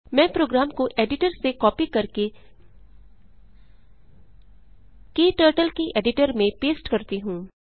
मैं प्रोग्राम को एडिटर से कॉपी करके क्टर्टल के एडिटर में पेस्ट करती हूँ